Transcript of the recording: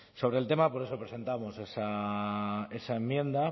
sobre el tema por eso presentamos esa enmienda